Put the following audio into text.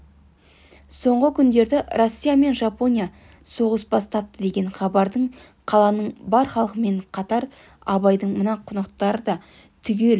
соңғы күндерде россия мен жапония соғыс бастапты деген хабарды қаланың бар халқымен қатар абайдың мына қонақтары да түгел